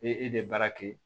Ni e de baara kɛ